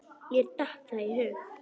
Mér datt það í hug!